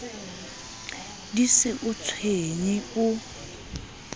di se o tshwenye o